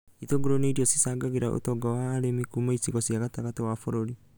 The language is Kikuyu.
Itũngũrũ nĩ irio cicangagĩra ũtonga wa arĩmi kũma icigo cia gatagatĩ wa bũrũri